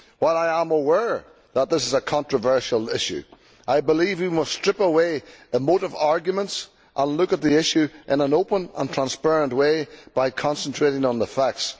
While I am aware that this is a controversial issue, I believe we must strip away emotive arguments and look at the issue in an open and transparent way by concentrating on the facts.